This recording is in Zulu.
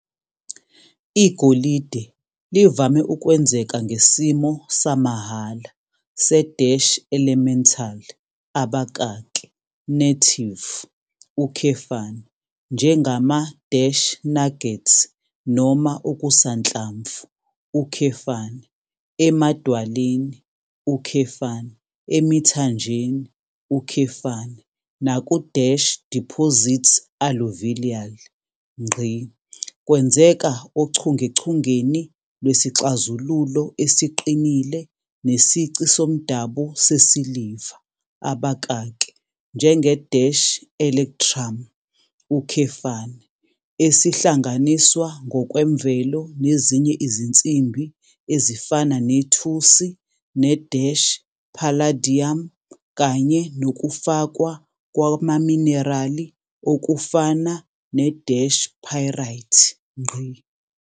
Igolide livame ukwenzeka ngesimo samahhala se-elemental, native, njengama-nuggets noma okusanhlamvu, emadwaleni, emithanjeni, naku-deposits alluvial. Kwenzeka ochungechungeni lwesixazululo esiqinile nesici somdabu sesiliva, njenge-electrum, esihlanganiswa ngokwemvelo nezinye izinsimbi ezifana nethusi ne-palladium kanye nokufakwa kwamaminerali okufana ne-pyrite.